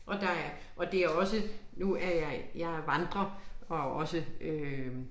Og der er og det er også nu er jeg jeg vandrer og også øh